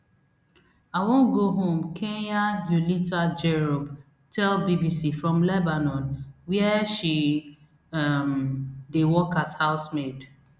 i wan go home kenya eulita jerop tell bbc from lebanon wia she um dey work as house maid